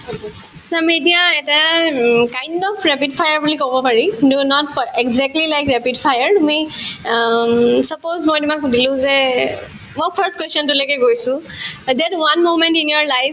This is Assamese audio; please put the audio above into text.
এটাৰ um kind of rapid fir বুলি কব পাৰি not for exactly like rapid fir um suppose মই তোমাক সুধিলো যে মই first question তোলৈকে গৈছো that one moment in your life